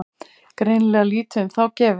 Greinilega lítið um þá gefið.